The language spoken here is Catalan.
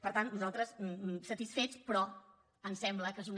per tant nosaltres satisfets però ens sembla que és una